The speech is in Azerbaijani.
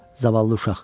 Zavallı uşaq.